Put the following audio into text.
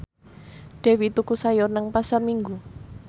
Dewi tuku sayur nang Pasar Minggu